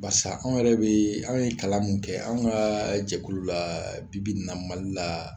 Barisa an yɛrɛ bɛ anw ye kalan min kɛ an ka jɛkulu la bi-bi n na Mali la